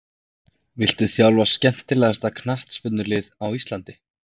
Viltu þjálfa skemmtilegasta knattspyrnulið á Íslandi?